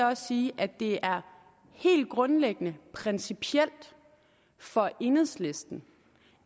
også sige at det er helt grundlæggende principielt for enhedslisten